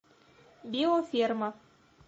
биоферма